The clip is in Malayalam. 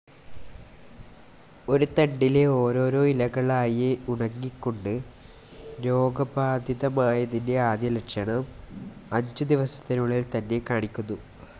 ഒരു തണ്ടിലെ ഓരോരോ ഇലകളായേ ഉണങ്ങികൊണ്ട്, രോഗബാധിതമായതിൻ്റെ ആദ്യ ലക്ഷണം, അഞ്ചുദിവസത്തിനുള്ളിൽ തന്നെ കാണിക്കുന്നു.